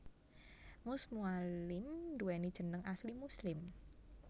Mus Mualim nduwéni jeneng asli Muslim